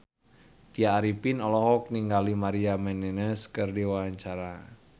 Tya Arifin olohok ningali Maria Menounos keur diwawancara